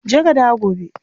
Je ka dawo gobe.